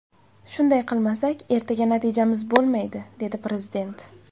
Shunday qilmasak ertaga natijamiz bo‘lmaydi”, dedi Prezident.